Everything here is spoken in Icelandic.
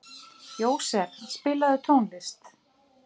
Jósef, spilaðu tónlist.